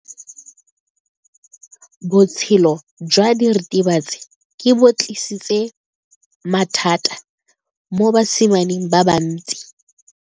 Botshelo jwa diritibatsi ke bo tlisitse mathata mo basimaneng ba bantsi.